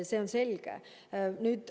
See on selge.